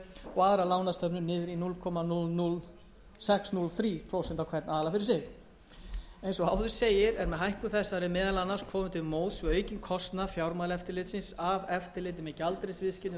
prósent á sparisjóði og aðrar lánastofnanir niður í núll komma núll núll sex núll þrjú prósent á hvern aðila fyrir sig eins og áður segir er með hækkun þessari meðal annars komið til móts við aukinn kostnað fjármálaeftirlitsins af eftirliti með gjaldeyrisviðskiptum þessara